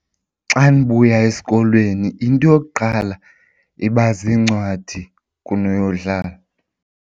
Xa ndibuya esikolweni into yokuqala iba ziincwadi kunoyodlala.